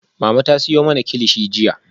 Mama ta siyo mana kilichi jiya